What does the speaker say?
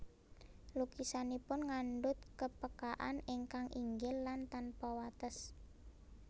Lukisanipun ngandunt kepekaan ingkang inggil lan tanpa wates